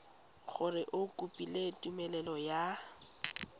gore o kopile tumelelo ya